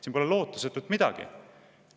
Siin pole lootusetut midagi!